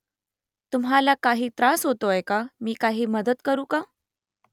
तुम्हाला काही त्रास होतोय का मी काही मदत करू का ?